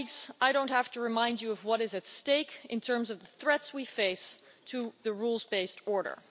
I don't have to remind you of what is at stake in terms of the threats we face to the rules-based order.